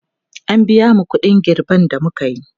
an biya mu ƙuɗin girben da mukayi